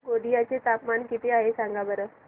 गोंदिया चे तापमान किती आहे सांगा बरं